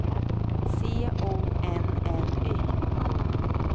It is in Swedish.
C O N N Y